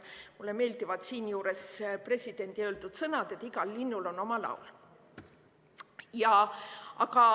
Mulle meeldivad siinjuures presidendi öeldud sõnad, et igal linnul on oma laul.